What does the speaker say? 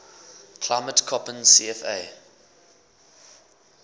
climate koppen cfa